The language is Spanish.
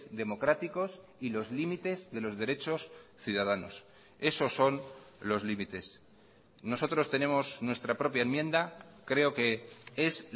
democráticos y los límites de los derechos ciudadanos esos son los límites nosotros tenemos nuestra propia enmienda creo que es